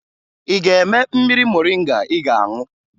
Ị ga-eme mmiri moringa ị ga-aṅụ?